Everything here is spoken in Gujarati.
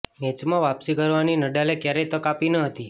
મેચમાં વાપસી કરવાની નડાલે ક્યારેય તક આપી ન હતી